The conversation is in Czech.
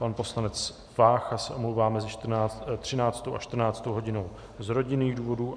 Pan poslanec Vácha se omlouvá mezi 13. a 14. hodinou z rodinných důvodů.